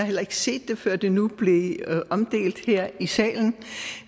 heller ikke set det før det nu blev omdelt her i salen